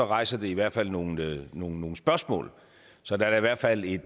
rejser det i hvert fald nogle nogle spørgsmål så der er i hvert fald et